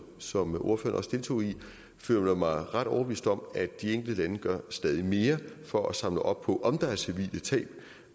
som ordføreren også deltog i føler mig ret overbevist om at de enkelte lande gør stadig mere for at samle op på om der er civile tab